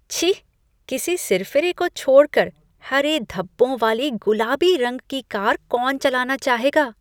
छी! किसी सिरफिरे को छोड़ कर हरे धब्बों वाली गुलाबी रंग की कार कौन चलाना चाहेगा?